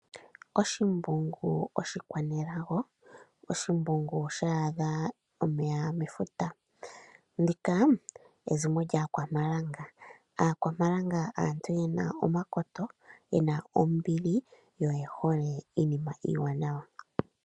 Oshimbugu oshikwanelago, sha adha omeya metemba! Ndika ezimo lyAakwanekamba. Aakwanekamba aantu ye na omakoto, ye na ombili yo oye hole iinima iiwanawa.